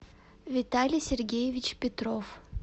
виталий сергеевич петров